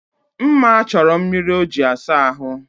Mma chọrọ mmiri o ji asa ahụ